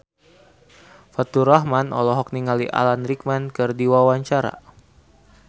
Faturrahman olohok ningali Alan Rickman keur diwawancara